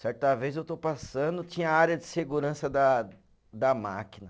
Certa vez eu estou passando, tinha a área de segurança da da máquina.